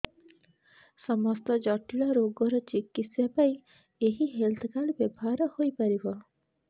ସମସ୍ତ ଜଟିଳ ରୋଗର ଚିକିତ୍ସା ପାଇଁ ଏହି ହେଲ୍ଥ କାର୍ଡ ବ୍ୟବହାର ହୋଇପାରିବ